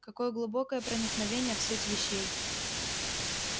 какое глубокое проникновение в суть вещей